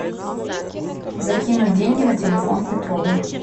закинуть деньги на телефон петрову